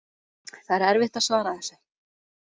Það er erfitt að svara þessu.